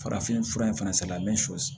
Farafinfura in fana sala sɔsi